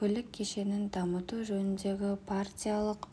көлік кешенін дамыту жөніндегі партиялық